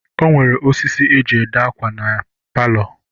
E nwere ọsịsị e jị ede akwa na ya palọ.